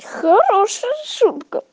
хорошая шутка